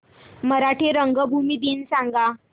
मराठी रंगभूमी दिन सांगा